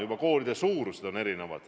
Juba koolide suurus on erinev.